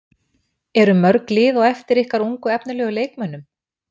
Eru mörg lið á eftir ykkar ungu og efnilegu leikmönnum?